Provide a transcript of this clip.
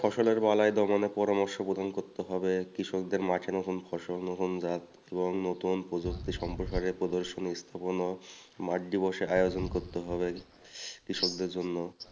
কৃষকদের জন্য